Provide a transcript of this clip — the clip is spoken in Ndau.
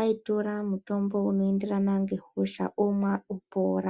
aitora mutombo unoenderana ngehosha. Omwa opora.